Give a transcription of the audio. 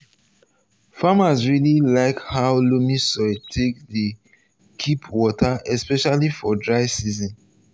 um farmers really like how loamy soil take dey keep water especially for dry season.